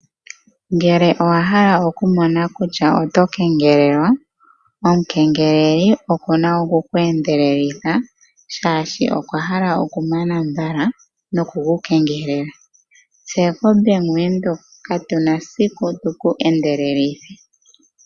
Ngele owa hala okumona kutya oto kengelelwa, omukengeleli oku na oku ku endelelitha, shaashi okwa hala okumana mbala noku ku kengelela. Tse koBank Windhoek katu na siku tu ku endelelithe.